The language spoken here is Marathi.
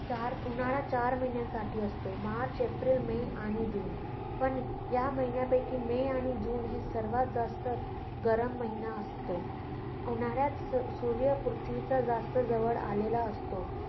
चार, उन्हाळा चार महिन्यासाठी असतो - मार्च, एप्रिल, मे आणि जून. पण या महिन्यापैकी मे आणि जून हे सर्वात जास्त गरम महिने असतो. उन्हाळ्यात सू~ सूर्य पृथ्वीच्या जास्त जवळ आलेला असतो.